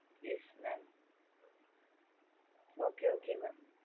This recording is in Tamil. yes mam okay okey mam